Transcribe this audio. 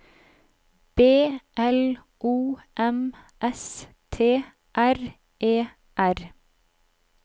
B L O M S T R E R